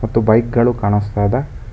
ಮತ್ತು ಬೈಕ್ ಗಳು ಕಾಣಿಸ್ತಾ ಇದೆ.